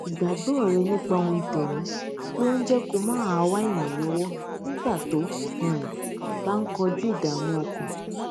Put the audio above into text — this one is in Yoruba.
ìgbàgbọ rẹ nípa ohun tẹmí ló ń jé kó máa wá ìrànlówó nígbà tó um bá ń kojú ìdààmú ọkàn